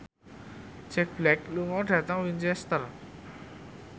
Jack Black lunga dhateng Winchester